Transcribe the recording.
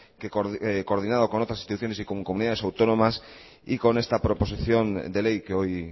que coordinado con otras instituciones y con comunidades autónomas con esta proposición de ley que hoy